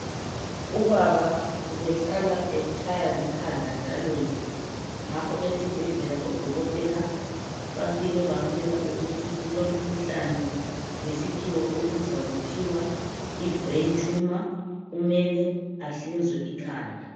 Ubaba ubehlala etshaywa likhanda njalonje ngakho esibhedlela oDokotela bafike bamtshela ukuthi ulomkhuhlane ngesikhiwa obizwa kuthiwa yi (Brain Tumour )kumele ahlinzwe ikhanda.